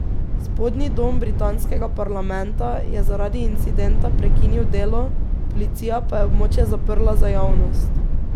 Spodnji dom britanskega parlamenta je zaradi incidenta prekinil delo, policija pa je območje zaprla za javnost.